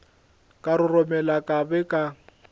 ka roromela ka be ka